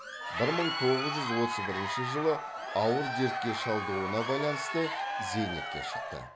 бір мың тоғыз жүз отыз бірінші жылы ауыр дертке шалдығуына байланысты зейнетке шықты